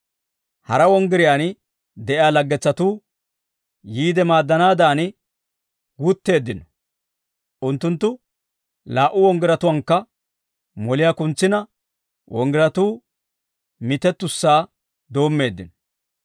Hara wonggiriyaan de'iyaa laggetsatuu yiide maaddanaadan wutteeddino; unttunttu laa"u wonggiratuwaankka moliyaa kuntsina wonggiratuu mitettussaa doommeeddino.